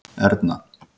Erna